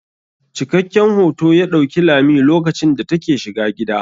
Cikakken hoto ya ɗauki lami lokacin da ta ke shiga gida.